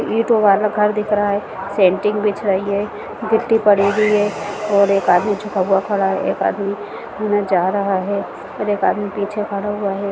ईंटो वाला घर दिख रहा है सेंट्रिंग बिछ रही है गिट्टी पड़ी हुई है और एक आदमी झुका हुआ खड़ा है एक आदमी जा रहा है और एक आदमी पीछे खड़ा हुआ है।